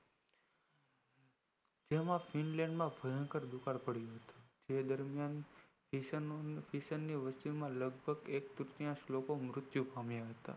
finland માં ભયંકર દુકાળ પડી ગયો હતો એ દરમિયાન એક તૃતીયન્સ લોકો મૃત્યુ પામ્યા હતા